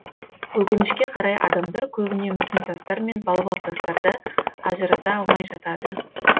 өкінішке қарай адамдар көбіне мүсін тастар мен балбал тастарды ажырата алмай жатады